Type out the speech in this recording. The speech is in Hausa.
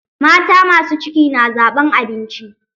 Mata masu ciki na zaɓan abinci.